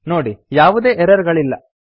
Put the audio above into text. ನೋಡಿ ಈಗ ಯಾವುದೇ ಎರರ್ ಗಳಿಲ್ಲ